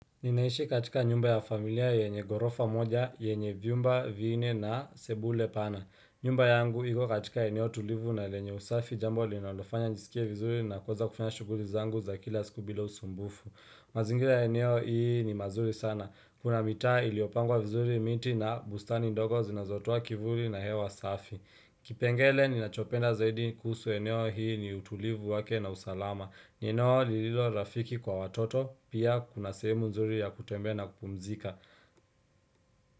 Ninaishi katika nyumba ya familia yenye gorofa moja, yenye Vyumba, Vinne na Sebule pana. Nyumba yangu iko katika eneo tulivu na lenye usafi jambo linalofanya nijiskie vizuri na kuweza kufanya shughuli zangu za kila siku bila usumbufu. Mazingira ya eneo hii ni mazuri sana. Kuna mitaa iliyopangwa vizuri miti na bustani ndogo zinazotoa kivuli na hewa safi. Kipengele ni nachopenda zaidi kuhusu eneo hii ni utulivu wake na usalama. Ninaolililo rafiki kwa watoto pia kuna sehemu nzuri ya kutembe na kupumzika.